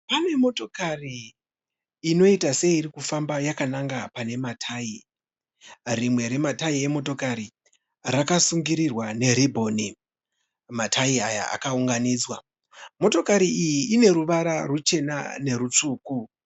Pane motokari inoita seiri kufamba yakananga pane matayi. Rimwe rematayi emotokari rakasungirirwa neribhoni. Matayi aya akaunganidzwa. Motokari iyi ine ruvara ruchena nerutsvuku.